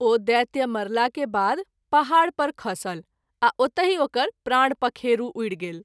ओ दैत्य मरला के बाद पहाड़ पर खसल आ ओतहि ओकर प्राण पखेरू उड़ि गेल।